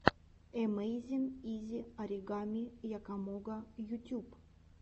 эмэйзин изи оригами якомога ютюб